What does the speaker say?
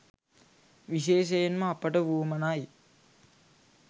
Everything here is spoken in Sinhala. විශේෂයෙන්ම අපට වුවමනයි